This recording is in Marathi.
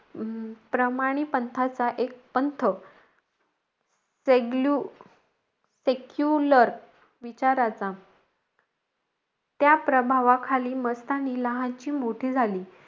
अं प्रमाणी पंथाचा एक पंथ चेग्लू secular विचाराचा. त्या प्रभावाखाली मस्तानी लहानची मोठी झाली.